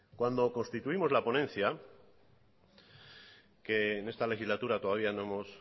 cuando constituimos la ponencia que en esta legislatura todavía no hemos